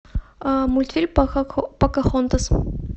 мультфильм покахонтас